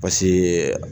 Paseke